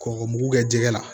Kɔkɔ mugu kɛ jɛgɛ la